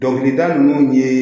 Dɔnkilida ninnu ye